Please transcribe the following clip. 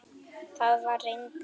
Það var reyndar